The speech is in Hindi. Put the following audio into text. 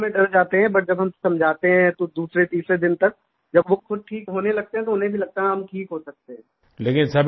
शुरू में तो डर जाते हैं बट जब हम समझाते हैं तो दूसरेतीसरे दिन तक जब वो खुद ठीक होने लगते हैं तो उन्हें भी लगता है कि हम ठीक हो सकते हैं